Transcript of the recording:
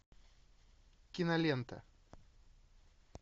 кинолента